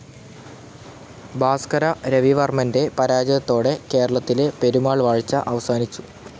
ഭാസ്‌കര രവിവർമ്മൻ്റെ പരാജയത്തോടെ കേരളത്തിലെ പെരുമാൾ വാഴ്ച അവസാനിച്ചു.